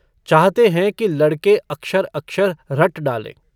चाहते हैं कि लड़के अक्षर-अक्षर रट डालें।